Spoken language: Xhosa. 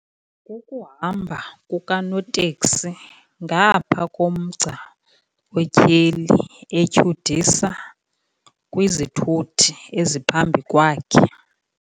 Kukuhamba kukanoteksi ngaaphaa komgca otyheli etyhudisa kwizithuthi eziphambi kwakhe.